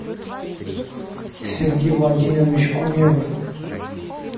сергей владимирович гумеров